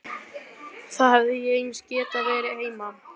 Þá hefði ég eins getað verið heima.